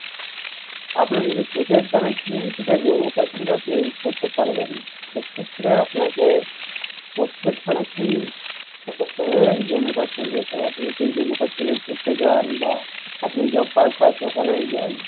আপনি যদি prepaid connection সেটা Jammu Kashmir এ আপনি use করতে পারবেন না সেক্ষেত্রে আপনাকে postpaid connection Jammu Kashmir যেতে হবে আপনি যদি Jammu Kashmir এ ঘুরতে যান বা আপনি job purpose ওখানে যান